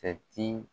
Cɛ ti